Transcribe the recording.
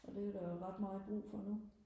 og det er der jo ret meget brug for nu